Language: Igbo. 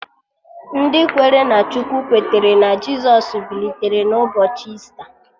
Ndị kwere na Chukwu kwetere na Jisọs bilitere n'ụbọchị Ista